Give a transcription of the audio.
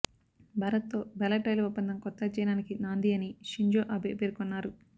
భారత్తో బెల్లెట్ రైలు ఒప్పందం కొత్త అధ్యాయానికి నాంది అని షింజో అబే పేర్కొన్నారు